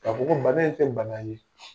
Ka fɔ ko bana in tɛ bana ye